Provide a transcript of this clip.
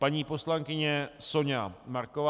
Paní poslankyně Soňa Marková.